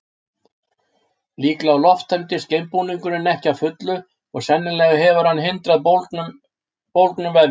líklega lofttæmdist geimbúningurinn ekki að fullu og sennilega hefur hann hindrað bólgnun vefja